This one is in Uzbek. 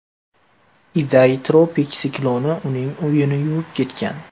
Iday tropik sikloni uning uyini yuvib ketgan.